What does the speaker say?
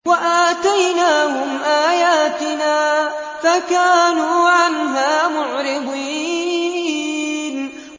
وَآتَيْنَاهُمْ آيَاتِنَا فَكَانُوا عَنْهَا مُعْرِضِينَ